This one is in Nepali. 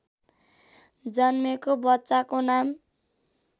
जन्मेको बच्चाको नाम